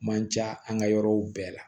Man ca an ka yɔrɔw bɛɛ la